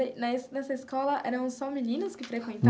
Mas nessa na sua escola eram só meninos que